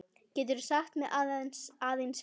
Geturðu sagt mér aðeins frá því?